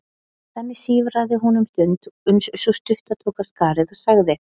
Þannig sífraði hún um stund uns sú stutta tók af skarið og sagði